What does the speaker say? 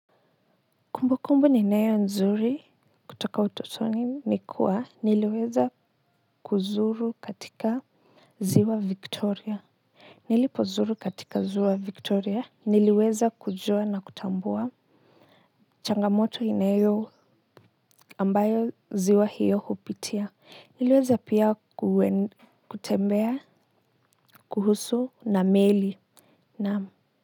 Kumbu kumbu ni nayo nzuri kutoka utotoni nikuwa niliweza kuzuru katika ziwa victoria nilipozuru katika ziwa victoria niliweza kujuwa na kutambua changamoto inayo ambayo ziwa hiyo kupitia niliweza pia kuwen kutembea kuhusu na meli na